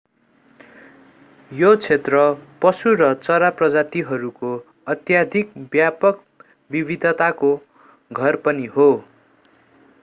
यो क्षेत्र पशु र चरा प्रजातिहरूको अत्यधिक व्यापक विविधताको घर पनि हो